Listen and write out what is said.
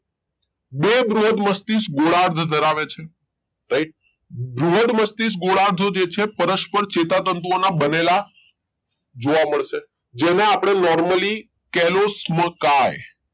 બે બૃહદ મસ્તિષ્ક ગોળાર્ધ ધરાવે છે right બૃહદ મસ્તિષ્ક ગોળાર્ધ જે છે પરસ્પર ચેતાતંતુઓના બનેલા જોવા મળશે જેના આપણે normally kelosmoky